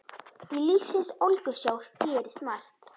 Í lífsins ólgusjó gerist margt.